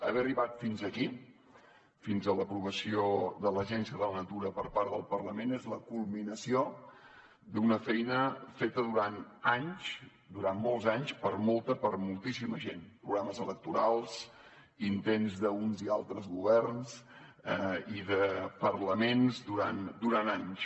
haver arribat fins aquí fins a l’aprovació de l’agència de la natura per part del parlament és la culminació d’una feina feta durant anys durant molts anys per molta per moltíssima gent programes electorals intents d’uns i altres governs i parlaments durant anys